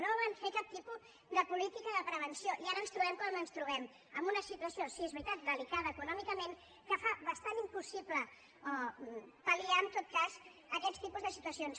no van fer cap tipus de política de prevenció i ara ens trobem com ens trobem en una situació sí és veritat de·licada econòmicament que fa bastant impossible pal·liar en tot cas aquest tipus de situacions